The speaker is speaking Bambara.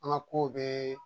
An ka ko bɛɛ